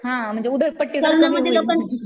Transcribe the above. हां म्हणजे उधळपट्टी